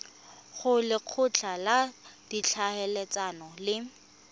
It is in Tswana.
go lekgotla la ditlhaeletsano le